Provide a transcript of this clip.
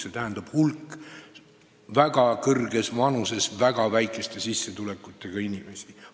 See tähendaks hulka väga kõrges vanuses väga väikese sissetulekuga inimesi.